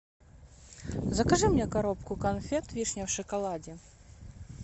закажи мне коробку конфет вишня в шоколаде